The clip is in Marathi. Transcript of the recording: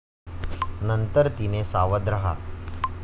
नंतर तिने सावध राहा!